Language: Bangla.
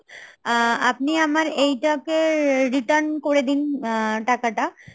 আ~ আপনি আমার এইটাকে return করে দিন টাকাটা